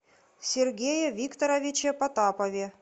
сергее викторовиче потапове